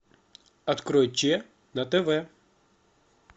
открой че на тв